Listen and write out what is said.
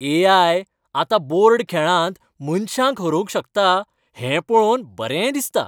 ए. I. आतां board खेळांत मनशांक हरोवंक शकता हें पळोवन बरें दिसता.